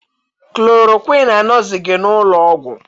Chloroquine anọghịzi n'ụlọọgwụ